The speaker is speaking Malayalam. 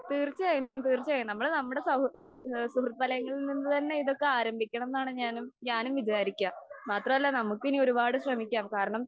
തീർച്ചയായും തീർച്ചയായും നമ്മള് നമ്മടെ സൗ ആ സുഹൃത്ഫലങ്ങളിൽ നിന്ന് തന്നെ ഇതൊക്കെ ആരംഭിക്കണം എന്നാണ് ഞാനും ഞാനും വിചാരിക്കാ. മാത്രമല്ല നമുക്ക് ഇനി ഒരുപാട് ശ്രമിക്കാം. കാരണം,